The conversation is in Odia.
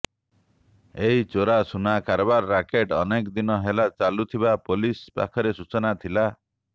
ଏହି ଚୋରା ସୁନା କାରବାର ରାକେଟ ଅନେକଦିନ ହେଲା ଚାଲୁଥିବା ପୋଲିସ ପାଖରେ ସୂଚନା ଥିଲା